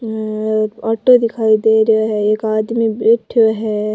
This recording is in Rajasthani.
हम्म एक ऑटो दिखाई दे रहा है एक आदमी बैठयो है।